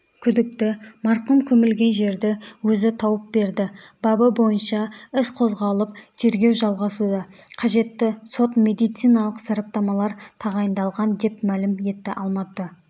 күдікті марқұм көмілген жерді өзі тауып берді бабы бойынша іс қозғалып тергеу жалғасуда қажетті сот-медициналық сараптамалар тағайындалған деп мәлім етті алматы